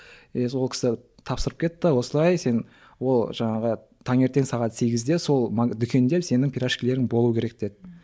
е сол кісі тапсырып кетті осылай сен ол жаңағы таңертең сағат сегізде сол дүкенде сенің пирожкилерің болу керек деді ммм